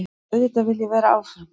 Auðvitað vil ég vera áfram.